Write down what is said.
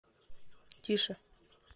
тише